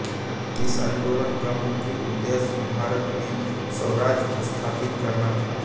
इस आन्दोलन का मुख्य उद्देश्य भारत में स्वराज स्थापित करना था